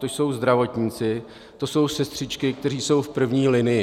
To jsou zdravotníci, to jsou sestřičky, kteří jsou v první linii.